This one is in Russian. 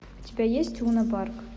у тебя есть лунопарк